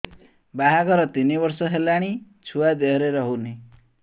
ବାହାଘର ତିନି ବର୍ଷ ହେଲାଣି ଛୁଆ ଦେହରେ ରହୁନି